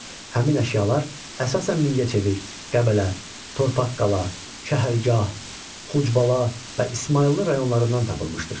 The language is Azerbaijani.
Həmin əşyalar əsasən Mingəçevir, Qəbələ, Torpaqqala, Şəhərgah, Xucbala və İsmayıllı rayonlarından tapılmışdır.